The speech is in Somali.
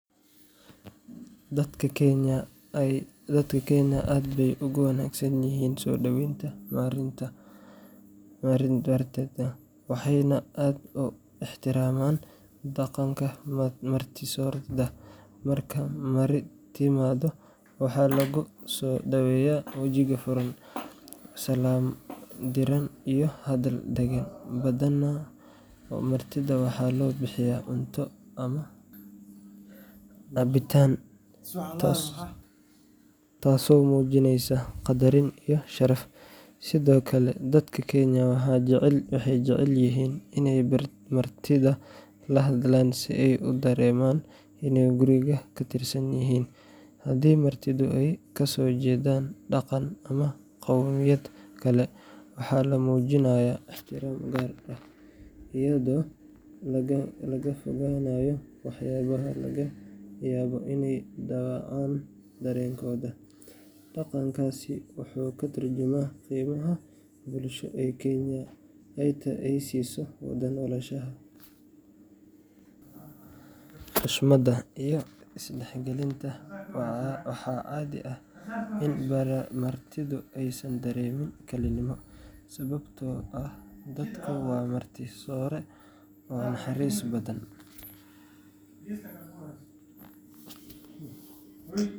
Dadka Kenya aad bay ugu wanaagsan yihiin soo dhoweynta martida, waxayna aad u ixtiraamaan dhaqanka martisoorida. Marka marti timaado, waxaa lagu soo dhaweeyaa wejiga furan, salaam diiran iyo hadal deggan. Badanaa, martida waxaa loo bixiyaa cunto ama cabitaan, taasoo muujinaysa qadarin iyo sharaf. Sidoo kale, dadka Kenya waxay jecel yihiin inay martida la hadlaan si ay u dareemaan inay guriga ka tirsan yihiin. Haddii martidu ay kasoo jeedaan dhaqan ama qowmiyad kale, waxaa la muujinayaa ixtiraam gaar ah iyadoo laga fogaanayo waxyaabaha laga yaabo inay dhaawacaan dareenkooda. Dhaqankaasi wuxuu ka tarjumayaa qiimaha bulsho ee Kenya ay siiso wada noolaanshaha, xushmadda, iyo is-dhexgalka. Waxaa caadi ah in martidu aysan dareemin kalinimo, sababtoo ah dadku waa marti soore oo naxariis badan.